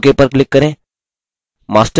ok पर click करें